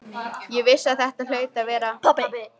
Ég vissi að þetta hlaut að vera pabbi.